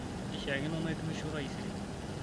keishaakino naitukisho taisere